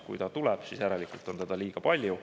Kui ta tuleb, siis järelikult on teda liiga palju.